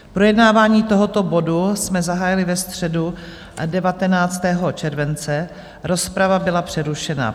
Projednávání tohoto bodu jsme zahájili ve středu 19. července, rozprava byla přerušena.